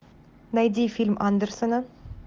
найди фильм андерсена